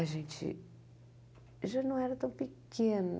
A gente já não era tão pequena.